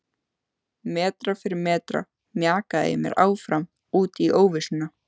Metra fyrir metra mjakaði ég mér áfram út í óvissuna.